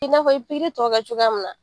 I na fɔ i bi tɔw kɛ cogoya mun na.